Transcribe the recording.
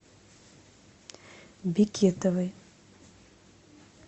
бекетовой